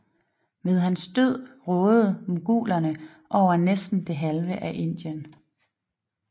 Ved hans død rådede mogulerne over næsten det halve af Indien